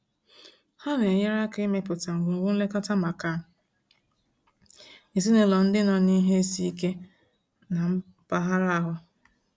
Ha na-enyere aka ịmepụta ngwugwu nlekọta maka ezinaụlọ ndị nọ n'ihe isi ike na mpaghara ahụ.